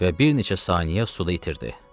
Və bir neçə saniyə suda itirdi.